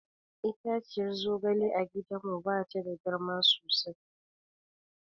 Itaciyar zogale a gidanmu ba ta da girma sosai.